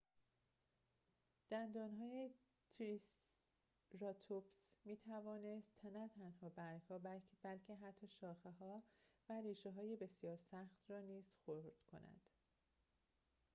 دندانهای تریسراتوپس می‌توانست نه تنها برگ‌ها بلکه حتی شاخه‌ها و ربشه‌های بسیار سخت را نیز خرد کند